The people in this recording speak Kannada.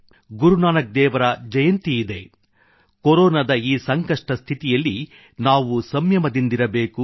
ಗುರುನಾನಕ್ ದೇವ್ ರ ಜಯಂತಿಯಿದೆ ಕೊರೊನಾದ ಈ ಸಂಕಷ್ಟ ಸ್ಥಿತಿಯಲ್ಲಿ ನಾವು ಸಂಮಯದಿಂದಿರಬೇಕು